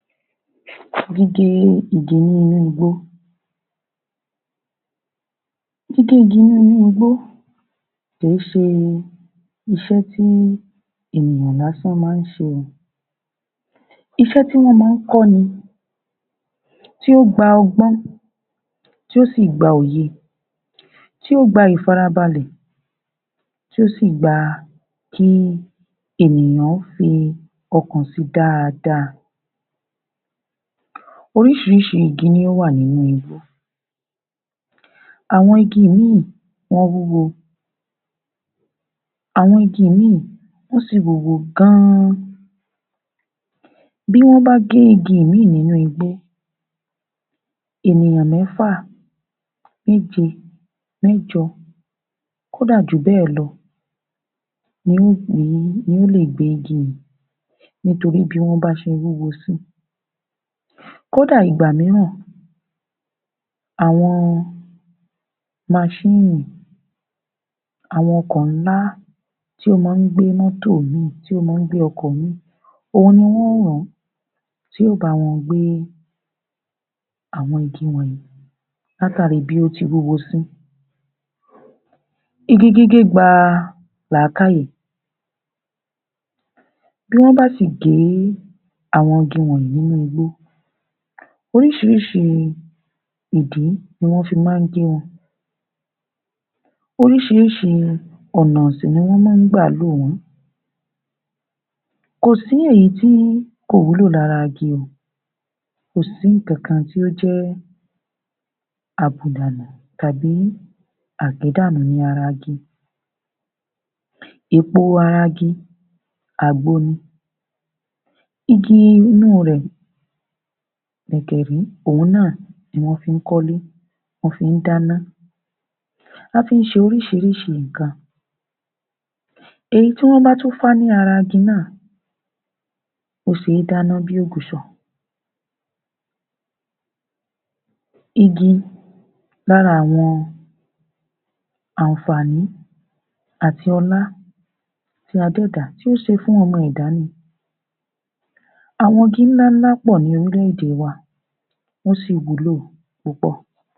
Gígé igi nínú igbó. Gígé igi nínú igbó, kì í ṣe iṣẹ́ tí ènìyàn lásán-an máa ń ṣe. Iṣẹ́ tí wọn máa ń kọ́ ni, tí ó gba ọgbọ́n, tí ó sì gba òye, tí ó gba ìfarabalẹ̀, tí ó sì gba kí ènìyàn fi ọ̀kàn sí dáadáa. Oríṣiríṣi igi ní o wà nínú igbó, àwọn igi mì, wọ́n wúwo. Àwọn igi mì, wọ́n sì wúwo gan-an. Bí wọn bá gé igi ìmí nínú igbó, ènìyàn mẹ́fà, mẹ́je, mẹ́jọ, kódà jú bẹ́ẹ̀ lọ ni ó lè gbé igi yẹn nítorí bí wọ́n ba ṣe wúwo sí. Kódà ìgbà mìíràn, àwọn maṣínìì, àwọn ọkọ̀ ńlá tí o máa ń gbé mótò mì, tí o máa ń gbé ọkọ̀ mì, òun ni wọn ó rán ti yóò ba wọn gbé àwọn igi wọ̀nyí látàrí bí wọn ti wúwo sí. Igi gígé gba làákàyè. Bí wọn bá sì gé àwọn igi wọ̀nyí nínú igbó, oríṣiríṣi ìdí ní wọn máa fi gé wọn, oríṣiríṣi ọ̀nà sì ni wọn máa gbà lò wọn. Kò sí èyí tí kò wúlò lára igi. Kò sí ǹkankan tí o jẹ́ àbùdànù tàbí àgédànù ní ara igi. Èpo ara igi, àgbo ni. Igi inú rẹ̀ gẹ̀gẹ̀rí òun náà ní wọn fí kọ́lé, ní wọ́n fí dáná. A fi ṣe oríṣiríṣi nǹkan. Èyí tí wọn ba tún fá ní ara igi náà wọn fí dáná bí òguṣọ̀. Igi, lára àwọn àǹfààní àti ọlá tí Adẹ́ẹ̀dá tí o ṣe fún ọmọ ẹ̀dá ni. Àwọn igi ńláńlá pọ̀ ní orílẹ̀-èdè wa, wọ́n sì wúlò púpọ̀